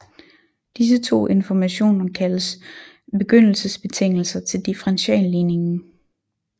Disse to informationen kaldes begyndelsesbetingelser til differentialligningen